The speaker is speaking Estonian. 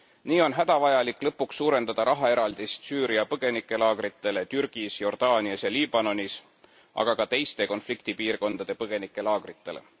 Nii on hädavajalik lõpuks suurendada rahaeraldist Süüria põgenikelaagritele Türgis, Jordaanias ja Liibanonis, aga ka teiste konfliktipiirkondade põgenikelaagritele.